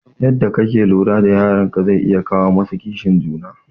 Yadda kake lura da yaran ka zai iya kawo musu kishin juna